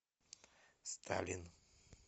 сталин